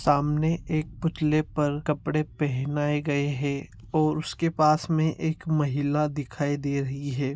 सामने एक पुतले पर कपड़े पेहनाए गए है और उसके पास में एक महिला दिखाई दे रही है।